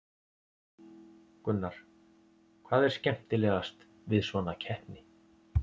Gunnar: Hvað er skemmtilegast við svona keppni?